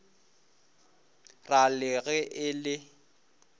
ra le ge e le